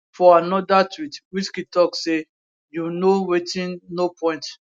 for anoda tweet wizkid tok say you know wetinno point